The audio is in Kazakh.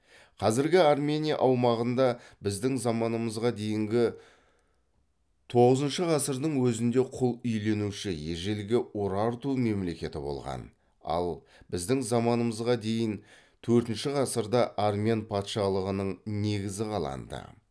қазіргі армения аумағында біздің заманымызға дейінгі тоғызыншы ғасырдың өзінде құл иеленуші ежелгі урарту мемлекеті болған ал біздің заманымызға дейін төртінші ғасырда армян патшалығының негізі қаланды